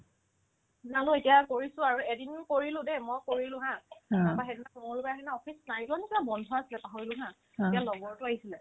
না মই এতিয়া কৰিছো আৰু এদিনো কৰিলো দেই মই কৰিলো haa তাৰপাই সেইদিনা মংগলবাৰ আছিল ন office নাই যোৱা নে কিবা বন্ধ আছিলে পাহৰিলো haa তেতিয়া লগৰতো আহিছিলে